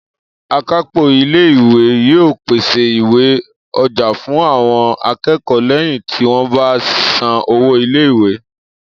Akápò ilé ìwé yóò pèsè ìwé-ọjà fún àwọn akẹ́kọ̀ọ́ lẹ́yìn tí wọ́n bá san owó ilé ìwé